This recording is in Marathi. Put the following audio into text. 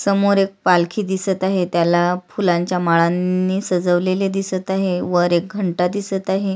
समोर एक पालखी दिसत आहे त्याला फुलांच्या माळांनी सजवलेले दिसत आहे वर एक घंटा दिसत आहे.